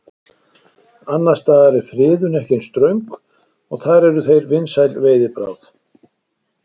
Annars staðar er friðun ekki eins ströng og þar eru þeir vinsæl veiðibráð.